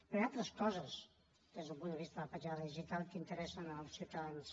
però hi ha altres coses des del punt de vista de la petjada digital que interessen els ciutadans